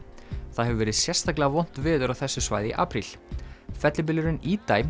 það hefur verið sérstaklega vont veður á þessu svæði í apríl fellibylurinn